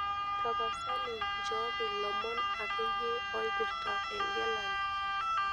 tapasali nchooki lomon akeyie oipirta egelare